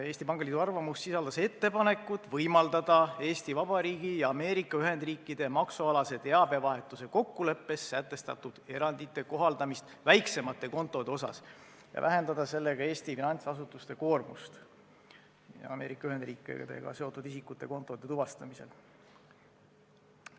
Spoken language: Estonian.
Eesti Pangaliidu arvamus sisaldas ettepanekut võimaldada Eesti Vabariigi ja Ameerika Ühendriikide maksualase teabevahetuse kokkuleppes sätestatud erandite kohaldamist väiksemate kontode puhul ja vähendada sellega Eesti finantsasutuste koormust Ameerika Ühendriikidega seotud isikute kontode tuvastamisel.